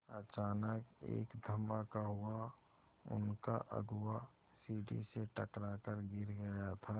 अचानक एक धमाका हुआ उनका अगुआ सीढ़ी से टकरा कर गिर गया था